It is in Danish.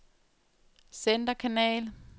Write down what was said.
centerkanal